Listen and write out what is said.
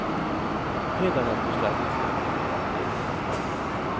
Hädanefter ska ni få lite mera frihet.